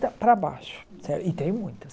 para baixo e tem muitas